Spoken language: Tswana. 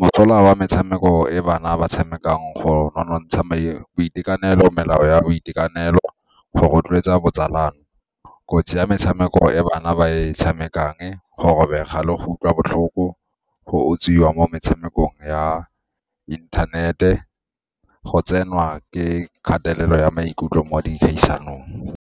Mosola wa metshameko e bana ba tshamekang go nonotsha boitekanelo melao ya boitekanelo go rotloetsa botsalano, kotsi ya metshameko e bana ba e tshamekang, go robega le go utlwa botlhoko go utswiwa mo metshamekong ya inthanete, go tsenwa ke kgatelelo ya maikutlo mo dikgaisanong.